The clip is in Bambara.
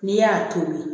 N'i y'a tobi